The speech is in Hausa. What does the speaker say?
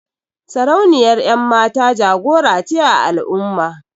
Sarauniyar 'yanmata jagora ce a al'umma.